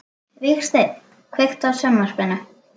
Vígsteinn, kveiktu á sjónvarpinu.